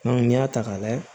n'i y'a ta ka lajɛ